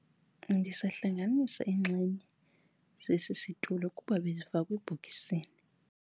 Ndisahlanganisa iinxenye zesi situlo kuba bezifakwe ebhokisini.